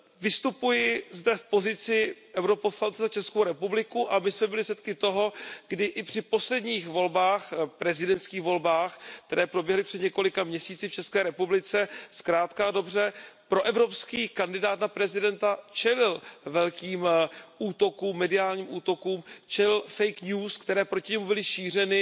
Vystupuji zde v pozici europoslance za Českou republiku a my jsme byli svědky toho, kdy i při posledních volbách, prezidentských volbách, které proběhly před několika měsíci v České republice, zkrátka a dobře, proevropský kandidát na prezidenta čelil velkým mediálním útokům, čelil fake news které proti němu byly šířeny